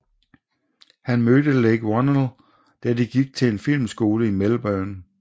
Han mødte Leigh Whannell da de gik til en filmskole i Melbourne